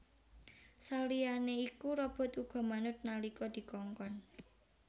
Saliyané iku robot uga manut nalika dikongkon